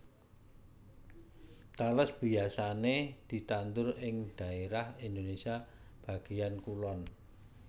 Tales biyasané ditandur ing dhaérah Indonésia bagéyan kulon